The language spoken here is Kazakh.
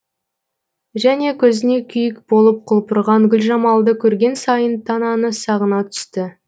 және көзіне күйік болып құлпырған гүлжамалды көрген сайын тананы сағына түсті